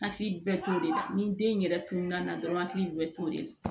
Hakili bɛ t'o de la ni den in yɛrɛ tun na na dɔrɔn hakili bɛ t'o de la